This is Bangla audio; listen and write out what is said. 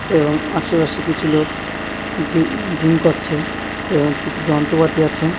এবং আশেপাশে কিছু লোক জিই জিম করছে এবং কিছু যন্ত্পাতি আছে।